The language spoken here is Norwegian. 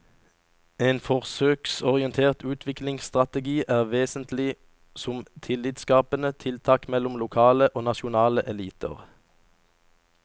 En forsøksorientert utviklingsstrategi er vesentlig som tillitsskapende tiltak mellom lokale og nasjonale eliter.